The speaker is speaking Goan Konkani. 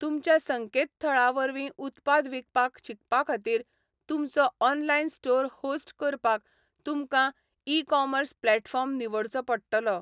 तुमच्या संकेतथळा वरवीं उत्पाद विकपाक शकपा खातीर, तुमचो ऑनलायन स्टोर होस्ट करपाक तुमकां ई कॉमर्स प्लॅटफॉर्म निवडचो पडटलो.